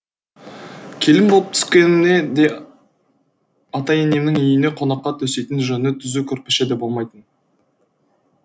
келін болып түскенімде де ата енемнің үйінде қонаққа төсейтін жөні түзу көрпеше де болмайтын